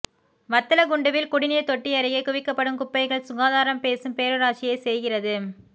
வத்தலக்குண்டுவில் குடிநீர் தொட்டியருகே குவிக்கப்படும் குப்பைகள் சுகாதாரம் பேசும் பேரூராட்சியே செய்கிறது